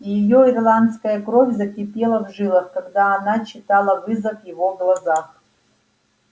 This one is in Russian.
и её ирландская кровь закипела в жилах когда она читала вызов в его глазах